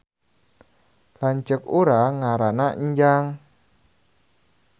Lanceuk urang ngaranna Enjang